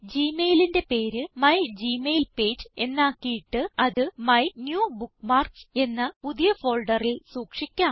Gmail ന്റെ പേര് my Gmail page എന്നാക്കിയിട്ട് അത് മൈന്യൂബുക്ക്മാർക്സ് എന്ന പുതിയ ഫോൾഡറിൽ സൂക്ഷിക്കാം